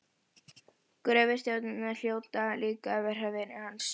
Gröfustjórarnir hljóta líka að vera vinir hans.